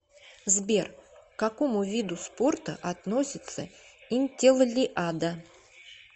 сбер к какому виду спорта относится интеллиада